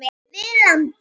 við landið.